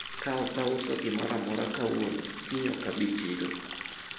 nisipouza chochote leo kesho sitakuja sokoni